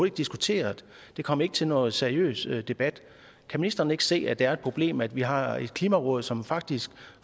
ikke diskuteret det kom ikke til nogen seriøs debat kan ministeren ikke se at det er et problem at vi har et klimaråd som faktisk